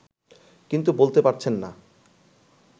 কিন্তু বলতে পারছেন না